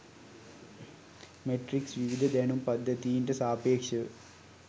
matrix විවිධ දැනුම් පද්ධතීන්ට සාපේක්ෂව